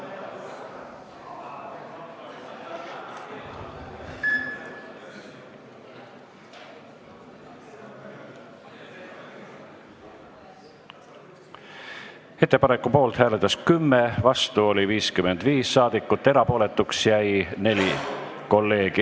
Hääletustulemused Ettepaneku poolt hääletas 10 ja vastu oli 55 saadikut, erapooletuks jäi 4 kolleegi.